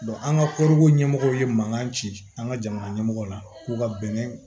an ka koroko ɲɛmɔgɔw ye mankan ci an ka jamana ɲɛmɔgɔ la k'u ka bɛnɛ